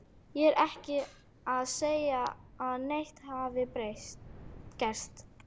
Ég er ekki að segja að neitt hafi gerst.